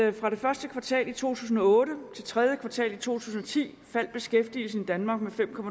at fra første kvartal to tusind og otte til tredje kvartal to tusind og ti faldt beskæftigelsen i danmark med fem